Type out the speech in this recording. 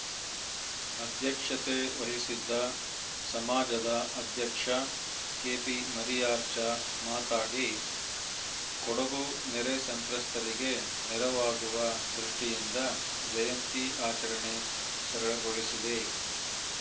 ಅಧ್ಯಕ್ಷತೆ ವಹಿಸಿದ್ದ ಸಮಾಜದ ಅಧ್ಯಕ್ಷ ಕೆಪಿಮರಿಯಾಚಾರ್‌ ಮಾತನಾಡಿ ಕೊಡಗು ನೆರೆ ಸಂತ್ರಸ್ಥರಿಗೆ ನೆರವಾಗುವ ದೃಷ್ಟಿಯಿಂದ ಜಯಂತಿ ಆಚರಣೆ ಸರಳಗೊಳಿಸಿದೆ